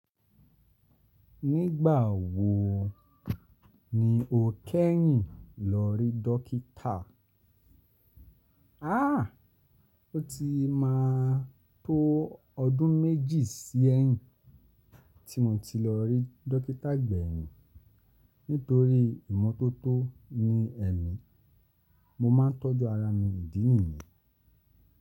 Nígbà wo ni o kẹ́yìn lọ rí dọ́kítà? A! O ti máa tó ọdún méjì sí ẹ́yìn tí mo ti lọ rí dọ́kítà gbẹ̀yìn nítorí ìmọ́tótó ni ẹ́mi. Mo máa ń tọ́jú ara mi ìdí nìyí.